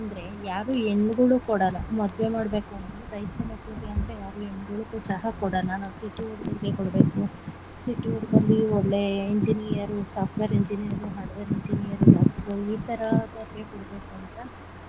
ಅಂದ್ರೆ ಯಾರು ಹೆಣ್ಣುಗಳು ಕೊಡಲ್ಲ ಮದುವೆ ಮಾಡ್ಬೇಕು ಅಂದ್ರು ರೈತರು ಮಕ್ಕಳಿಗೆ ಅಂದ್ರೆ ಯಾರು ಹೆಣ್ಣುಗಳು ಸಹ ಕೊಡಲ್ಲ ನಾವು city ಹುಡಗುರ್ಗೆ ಕೊಡ್ಬೇಕು city ಹುಡಗುರ್ಗೆ ಒಳ್ಳೆ engineer, software engineer, hardware engineer, doctor ಗಳು ಈತರದವರ್ಗೆ ಕೊಡ್ಬೇಕು ಅಂತ.